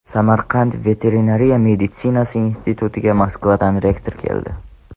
Samarqand veterinariya meditsinasi institutiga Moskvadan rektor keldi.